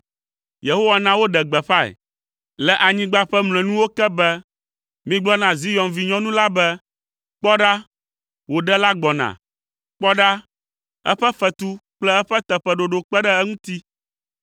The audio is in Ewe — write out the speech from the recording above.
Yehowa na woɖe gbeƒãe le anyigba ƒe mlɔenuwo ke be, “Migblɔ na Zion vinyɔnu la be, ‘Kpɔ ɖa, wò Ɖela gbɔna! Kpɔ ɖa, eƒe fetu kple eƒe teƒeɖoɖo kpe ɖe eŋuti.’ ”